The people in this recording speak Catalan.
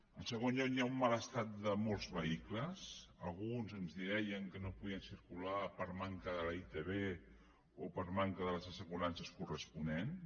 en segon lloc hi ha un mal estat de molts vehicles alguns ens deien que no podien circular per manca de la itv o per manca de les assegurances corresponents